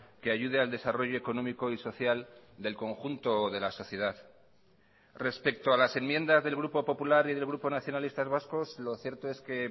que ayude al desarrollo económico y social del conjunto de la sociedad respecto a las enmiendas del grupo popular y del grupo nacionalistas vascos lo cierto es que